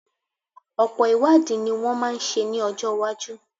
Ọ̀pọ̀ ìwádìí ní wọ́n máa ṣe ní ọjọ́ iwájú.